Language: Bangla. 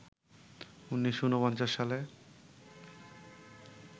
১৯৪৯ সালে